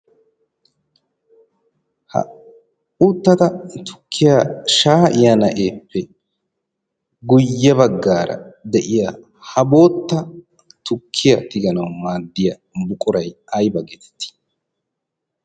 ha uuttada tukkiya shaa'iyaa na'eeppe guyye baggaara de'iya ha bootta tukkiyaa tiganau maaddiya buquray ayba geetetti